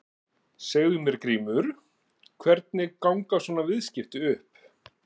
Segðu mér Grímur, hvernig ganga svona viðskipti upp?